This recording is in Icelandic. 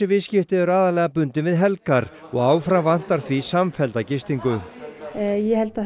viðskipti eru aðallega bundin við helgar og áfram vantar því samfellda gistingu ég held að